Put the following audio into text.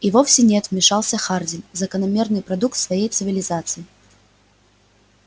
и вовсе нет вмешался хардин закономерный продукт своей цивилизации